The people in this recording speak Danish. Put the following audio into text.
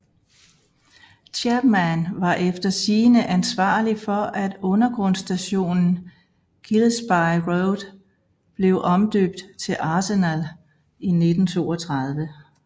Chapman var efter sigende ansvarlig for at undergrundsstationen Gillespie Road blev omdøbt til Arsenal i 1932